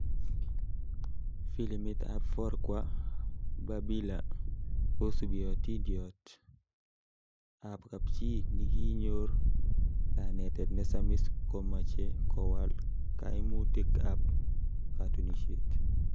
Filimit ab Forkwa Babila kosubi ationdiot ab kapchi nikinyor kanetet nesamis komeche kowal kaimutik ab katunishet.